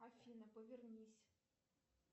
афина повернись